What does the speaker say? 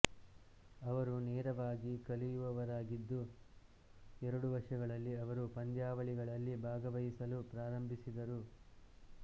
ಅವರು ವೇಗವಾಗಿ ಕಲಿಯುವವರಾಗಿದ್ದು ಎರಡು ವರ್ಷಗಳಲ್ಲಿ ಅವರು ಪಂದ್ಯಾವಳಿಗಳಲ್ಲಿ ಭಾಗವಹಿಸಲು ಪ್ರಾರಂಭಿಸಿದರು